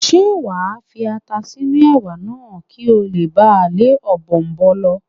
Ṣé wà á fi ata sínú Ẹ̀wà náà kí ó le ba lé Ọ̀bọ̀ọ̀nbọọ̀n lọ?